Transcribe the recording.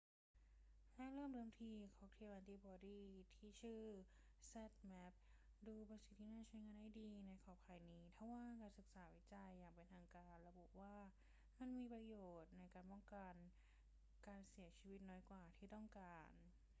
แรกเริ่มเดิมที ค็อกเทลแอนติบอดีที่ชื่อว่า zmapp ดูเป็นสิ่งที่น่าจะใช้งานได้ดีในขอบข่ายนี้ ทว่าการศึกษาวิจัยอย่างเป็นทางการระบุว่ามันมีประโยชน์ในการป้องกันการเสียชีวิตน้อยกว่าที่ต้องการ